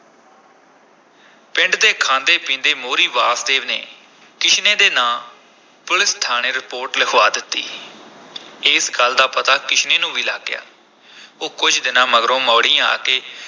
ਪਿੰਡ ਦੇ ਖਾਂਦੇ-ਪੀਂਦੇ ਮੋਹਰੀ ਵਾਸਦੇਵ ਨੇ ਕਿਸ਼ਨੇ ਦੇ ਨਾਂ ਪੁਲੀਸ ਥਾਣੇ ਰਿਪੋਰਟ ਲਿਖਵਾ ਦਿੱਤੀ ਇਸ ਗੱਲ ਦਾ ਪਤਾ ਕਿਸ਼ਨੇ ਨੂੰ ਵੀ ਲੱਗ ਗਿਆ ਉਹ ਕੁਝ ਦਿਨਾਂ ਮਗਰੋਂ ਮੌੜੀਂ ਆ ਕੇ